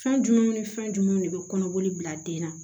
Fɛn jumɛn ni fɛn jumɛn de bɛ kɔnɔboli bila den na